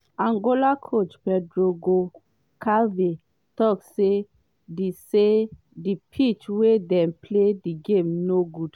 angola coach pedro goncalves tok say di say di pitch wia dem play di game no good.